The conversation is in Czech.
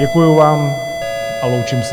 Děkuju vám a loučím se.